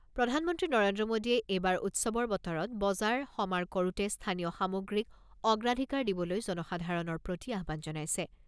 প্ৰধানমন্ত্ৰী নৰেন্দ্ৰ মোদীয়ে এইবাৰ উৎসৱৰ বতৰত বজাৰ সমাৰ কৰোতে স্থানীয় সামগ্ৰীক অগ্ৰাধিকাৰ দিবলৈ জনসাধাৰণৰ প্ৰতি আহ্বান জনাইছে।